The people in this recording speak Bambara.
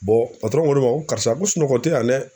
ko ne ma ko karisa ko sunɔgɔ te yan dɛ